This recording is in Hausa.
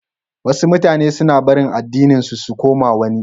Wasu mutanan suna barin addininsu su koma wani.